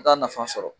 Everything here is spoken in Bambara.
Taa nafa sɔrɔ